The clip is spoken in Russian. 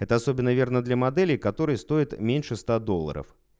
это особенно верно для моделей которые стоят меньше ста долларов